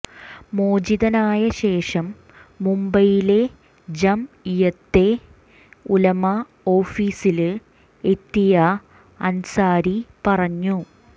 മോചിതനായ ശേഷം മുംബൈയിലെ ജംഇയ്യത്തെ ഉലമ ഓഫിസില് എത്തിയ അന്സാരി പറഞ്ഞു